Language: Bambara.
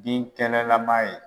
Binkɛnɛlaman ye.